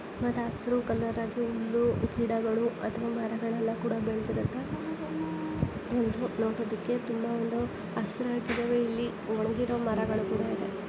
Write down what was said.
ಒಂದು ಹಸಿರು ಕಲರ್ ಆಗಿ ಹುಲ್ಲು ಗಿಡಗಳು ಅಥವಾ ಮರಗಳೆಲ್ಲ ಕೂಡ ಬೆಳೆದಿರುತ್ತೆ. ಒಂದು ನೋಡೋದಕ್ಕೆ ತುಂಬಾ ಒಂದು ಹಸಿರಾಗಿದೆ ಇಲ್ಲಿ ಒಣಗಿರೋ ಮರಗಳು ಕೂಡ ಇದೆ.